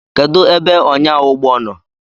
Kedụ ebe ọnyáụgbọ nọ?